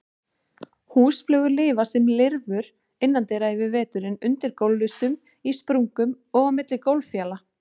Húsflugur lifa sem lirfur innandyra yfir veturinn, undir gólflistum, í sprungum og á milli gólffjala.